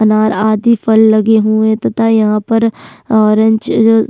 अनार आदि फल लगे हुए है तथा यहाँ पर ओरेंज अ-अ --